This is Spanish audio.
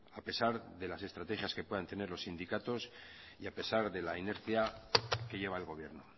a pesar de las estrategias que puedan tener los sindicatos y a pesar de la inercia que lleva el gobierno